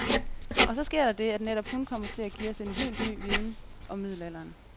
Og så sker der det, at netop hun kommer til at give os helt ny viden om middelalderen.